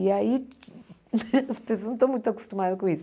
E aí, as pessoas não estão muito acostumadas com isso.